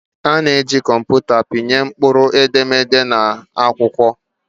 A na-eji kọmputa pịnye mkpụrụedemede na akwụkwọ.